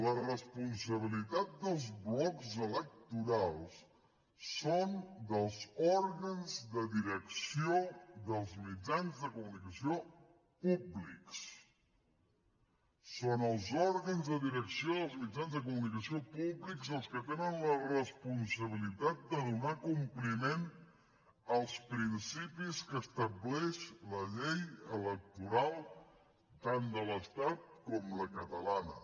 la responsabilitat dels blocs electorals és dels òrgans de direcció dels mitjans de comunicació públics són els òrgans de direcció dels mitjans de comunicació públics els que tenen la responsabilitat de donar compliment als principis que estableix la llei electoral tant de l’estat com la catalana